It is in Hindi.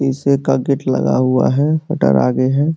पीसे का गेट लगा हुआ है। हटर आगे है।